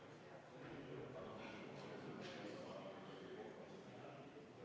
Palun võtta seisukoht ja hääletada!